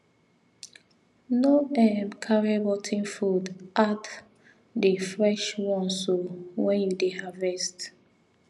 no um carry rot ten fruit add the fresh ones um when you dey harvest